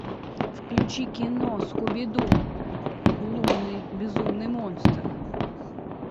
включи кино скуби ду лунный безумный монстр